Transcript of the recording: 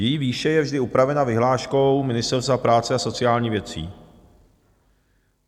Její výše je vždy upravena vyhláškou Ministerstva práce a sociálních věcí.